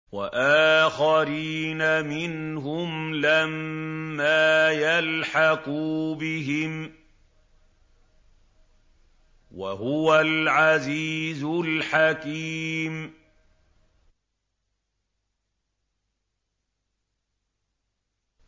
وَآخَرِينَ مِنْهُمْ لَمَّا يَلْحَقُوا بِهِمْ ۚ وَهُوَ الْعَزِيزُ الْحَكِيمُ